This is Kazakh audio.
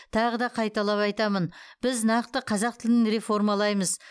тағы да қайталап айтамын біз нақты қазақ тілін реформалаймыз